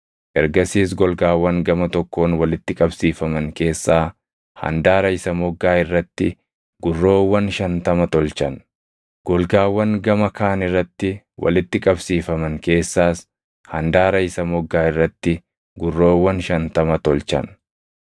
Ergasiis golgaawwan gama tokkoon walitti qabsiifaman keessaa handaara isa moggaa irratti gurroowwan shantama tolchan; golgaawwan gama kaan irratti walitti qabsiifaman keessaas handaara isa moggaa irratti gurroowwan shantama tolchan.